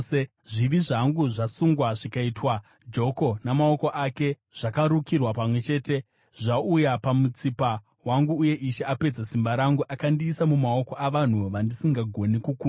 “Zvivi zvangu zvasungwa zvikaitwa joko; namaoko ake zvakarukirwa pamwe chete, zvauya pamutsipa wangu uye Ishe apedza simba rangu. Akandiisa mumaoko avanhu vandisingagoni kukunda.